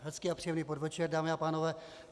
Hezký a příjemný podvečer, dámy a pánové.